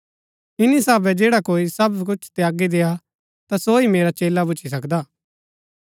इन्‍नी साभै जैडा कोई सब कुछ त्यागी देआ ता सो ही मेरा चेला भुच्‍ची सकदा हा